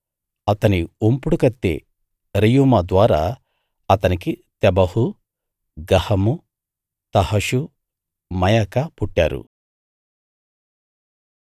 అతని ఉంపుడుకత్తె రెయూమా ద్వారా అతనికి తెబహు గహము తహషు మయకా పుట్టారు